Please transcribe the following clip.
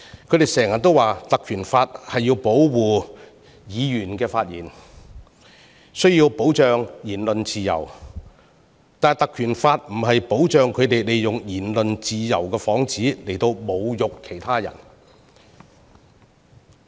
他們經常說《立法會條例》旨在保護議員的發言，需要保障言論自由，但《條例》並非保障他們以言論自由的幌子侮辱他人。